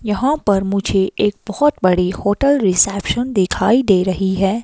यहां पर मुझे एक बहोत बड़ी होटल रिसेप्शन दिखाई दे रही है।